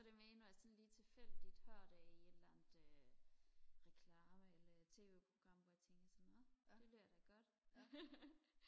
så det mere når jeg sådan lige tilfældigt hører det i et eller andet reklame eller tv program hvor jeg lige tænker nå det lyder da godt